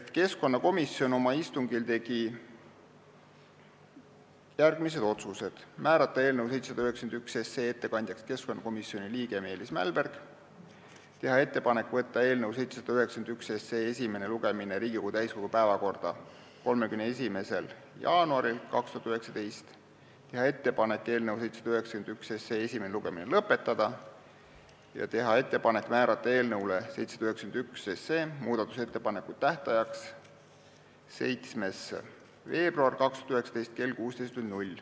Keskkonnakomisjon oma istungil tegi järgmised otsused: määrata eelnõu 791 ettekandjaks keskkonnakomisjoni liige Meelis Mälberg, teha ettepanek võtta eelnõu 791 esimene lugemine Riigikogu täiskogu päevakorda 31. jaanuariks 2019, teha ettepanek esimene lugemine lõpetada ja määrata eelnõu 791 muudatusettepanekute tähtajaks 7. veebruar 2019 kell 16.